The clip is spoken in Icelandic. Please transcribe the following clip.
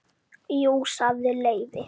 Jú sagði Leifi.